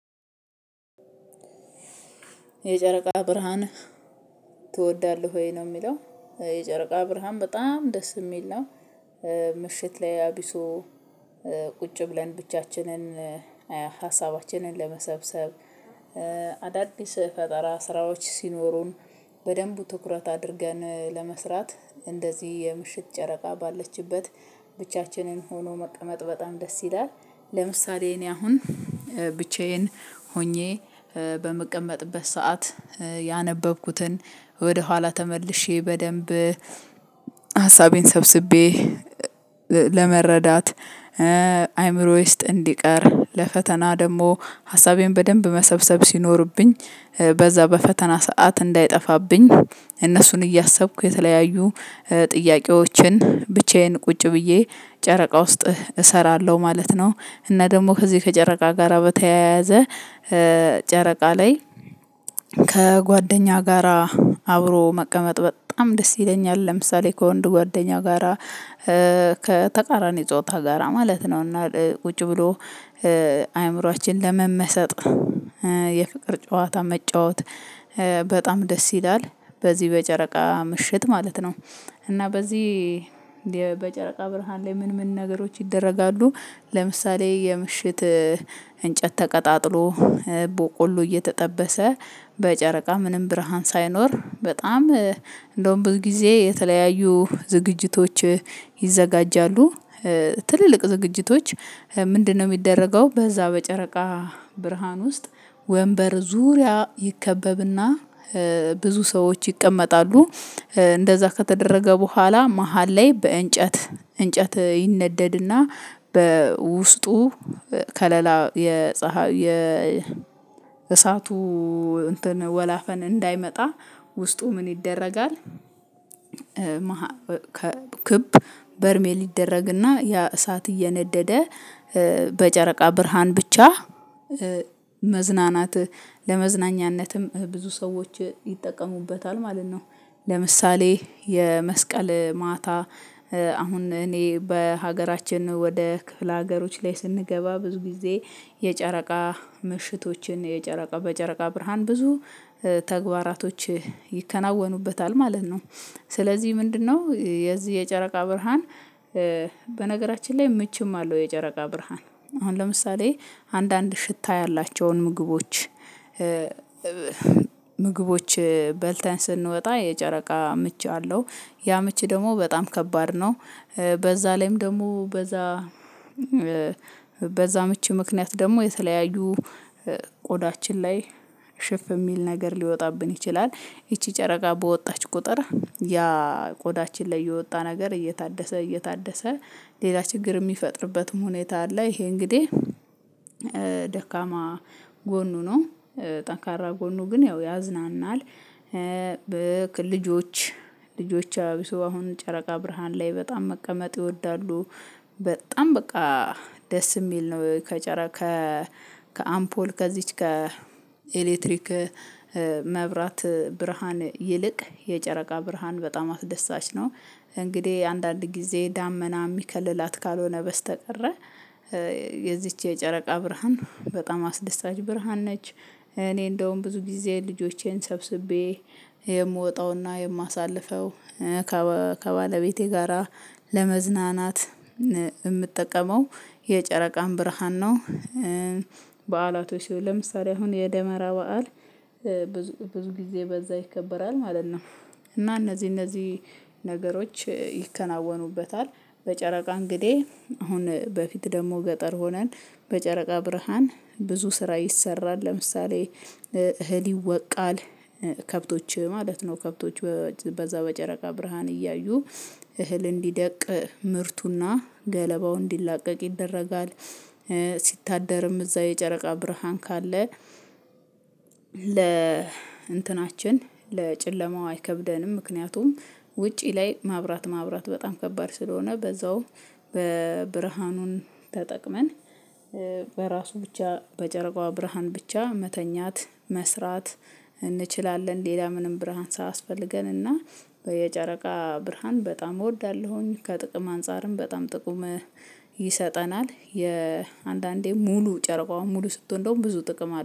የጨረቃ ብርሃን ትወዳለህ? ወይ ነው የሚለው የጨረቃ ብርሃን በጣም ደስ የሚል ነው። ምሽት ላይ አቢሶ ቁጭ ብለን ብቻችንን ሀሳባችንን ለመሰብሰብ አዳዲስ ፈጠራ ስራዎች ሲኖሩን በደንቡ ትኩረት አድርገን ለመስራት እንደዚህ የምሽት ጨረቃ ባለችበት ብቻችንን ሆኖ መቀመጥ በጣም ደስ ይላል። ለምሳሌ እኔ አሁን ብቻዬን ሆኜ በምቀመጥበት ሰዓት ያነበብኩትን ወደኋላ ተመልሼ በደንብ ሀሳቤን ሰብስቤ ለመረዳት አይምሮ ውስጥ እንዲቀር ለፈተና ደግሞ ሀሳቤን በደንብ መሰብሰብ ሲኖርብኝ በዛ በፈተና ሰዓት እንዳይጠፋብኝ እነሱን እያሰብኩ የተለያዩ ጥያቄዎችን ብቻዬን ቁጭ ብዬ ጨረቃ ውስጥ እሰራለው ማለት ነው። እና ደግሞ ከዚህ ከጨረቃ ጋራ በተያያዘ ጨረቃ ላይ ከጓደኛ ጋራ አብሮ መቀመጥ በጣም ደስ ይለኛል። ለምሳሌ ከወንድ ጓደኛ ጋራ ከተቃራኒ ጾታ ጋራ ማለት ነው እና ቁጭ ብሎ አእምሮአችን ለመመሰጥ የፍቅር ጨዋታ መጫወት በጣም ደስ ይላል በዚህ በጨረቃ ምሽት ማለት ነው እና በዚህ እንዴ በጨረቃ ብርሃን ላይ ምን ምን ነገሮች ይደረጋሉ? ለምሳሌ የምሽት እንጨት ተቀጣጥሎ ቦቆሎ እየተጠበሰ በጨረቃ ምንም ብርሃን ሳይኖር በጣም እንደውም ብዙ ጊዜ የተለያዩ ዝግጅቶች ይዘጋጃሉ። ትልልቅ ዝግጅቶች ምንድነው ሚደረገው በዛ በጨረቃ ብርሃን ውስጥ ወንበር ዙሪያ ይከበብና ብዙ ሰዎች ይቀመጣሉ እንደዛ ከተደረገ ቦኋላ መሃል ላይ በእንጨት እንጨት ይነደድና በውስጡ ከለላ የፀሀይ የ ወላፈን እንዳይመጣ ውስጡ ምን ይደረጋል? ክብ በርሜል ሊደረግና ያ እሳት እየነደደ በጨረቃ ብርሃን ብቻ መዝናናቲ ለመዝናኛነትም ብዙ ሰዎች ይጠቀሙበታል ማለት ነው። ለምሳሌ የመስቀል ማታ አሁን እኔ በሀገራችን ነው ወደ ክፍለ ሀገሮች ላይ ስንገባ ብዙ ጊዜ የጨረቃ ምሽቶችን የጨረቃ በጨረቃ ብርሃን ብዙ ተግባራቶች ይከናወኑበታል ማለት ነው። ስለዚህ ምንድነው የዚህ የጨረቃ ብርሃን በነገራችን ላይ ምችም አለው የጨረቃ ብርሃን አሁን ለምሳሌ አንዳንድ ሽታ ያላቸውን ምግቦች ምግቦች በልተን ስንወጣ የጨረቃ ምች አለው ያ ምች ደግሞ በጣም ከባድ ነው። በዛ ላይም ደግሞ በዛ በዛ ምች ምክንያት ደግሞ የተለያዩ ቆዳችን ላይ ሽፍ የሚል ነገር ሊወጣብን ይችላል ይቺ ጨረቃ በወጣች ቁጥር ያ ቆዳችን ላይ የወጣ ነገር እየታደሰ እየታደሰ ሌላ ችግር የሚፈጥርበትም ሁኔታ አለ ይሄ እንግዲህ ደካማ ጎኑ ነው ጠንካራ ጎኑ ግን ያው ያዝናናል። በልጆች ልጆች አብሶ አሁን ጨረቃ ብርሃን ላይ በጣም መቀመጥ ይወዳሉ። በጣም በቃ ደስ የሚል ነው ከጨረ ከ ከአምፖል ከዚች ከ ከኤሌክትሪክ መብራት ብርሃን ይልቅ የጨረቃ ብርሃን በጣም አስደሳች ነው። እንግዲህ አንዳንድ ጊዜ ዳመና የሚከልላት ካልሆነ በስተቀረ የዚች የጨረቃ ብርሃን በጣም አስደሳች ብርሃን ነች እኔ እንደውም ብዙ ጊዜ ልጆቼን ሰብስቤ የምወጣውና የማሳልፈው ከባለቤቴ ጋራ ለመዝናናት የምትጠቀመው የጨረቃን ብርሃን ነው። በዓላቶች ለምሳሌ አሁን የደመራ በዓል ብዙ ብዙ ጊዜ በዛ ይከበራል ማለት ነው። እና እነዚህ እነዚህ ነገሮች ይከናወኑበታል በጨረቃ እንግዲህ አሁን በፊት ደግሞ ገጠር ሆነን በጨረቃ ብርሃን ብዙ ስራ ይሰራል ለምሳሌ እህል ይወቃል ከብቶች ማለት ነው። ከብቶች በዛ በጨረቃ ብርሃን እያዩ እህል እንዲደቅ ምርቱና ገለባው እንዲላቀቅ ይደረጋል። ሲታደርም እዛ የጨረቃ ብርሃን ካለ ለ እንትናችን ለጨለማው አይከብደንም ምክንያቱም ውጪ ላይ ማብራት ማብራት በጣም ከባድ ስለሆነ በዛው በብርሃኑን ተጠቅመን በራሱ ብቻ በጨረቃዋ ብርሃን ብቻ መተኛት መስራት እንችላለን ሌላ ምንም ብርሃን ሳያስፈልገን እና በየጨረቃ ብርሃን በጣም እወዳለሁኝ ከጥቅም አንፃርም በጣም ጥቅም ይሰጠናል የአንዳንዴ ሙሉ ጨረቃውን ሙሉ ስትሆን እንደውም ብዙ ጥቅም